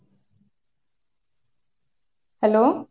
hello।